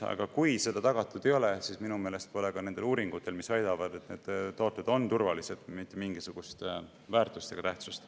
Aga kui seda tagatud ei ole, siis minu meelest pole ka nendel uuringutel, mis väidavad, et need tooted on turvalised, mitte mingisugust väärtust ega tähtsust.